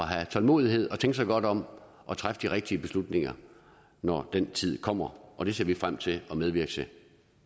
have tålmodighed og tænke sig godt om og træffe de rigtige beslutninger når den tid kommer og det ser vi frem til at medvirke til